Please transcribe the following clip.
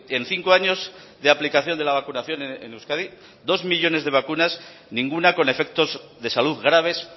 en cinco años de aplicación de la vacunación en euskadi dos millónes de vacunas ninguna con efectos de salud graves